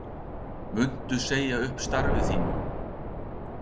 Guðný Helga Herbertsdóttir: Muntu segja upp starfi þínu?